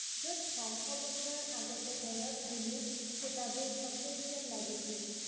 যত শ শ বছৰ আগতে বেৰত গুলিৰ ফুটাবোৰ সতেজ যেন লাগিছিল